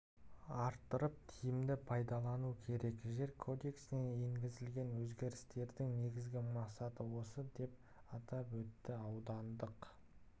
арттырып тиімді пайдалану керек жер кодексіне енгізілген өзгерістердің негізгі мақсаты осы деп атап өтті аудандық